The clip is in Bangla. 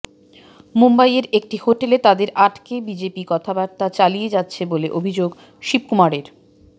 মুম্বইয়ের একটি হোটেলে তাঁদের আটকে বিজেপি কথাবার্তা চালিয়ে যাচ্ছে বলে অভিযোগ শিবকুমারের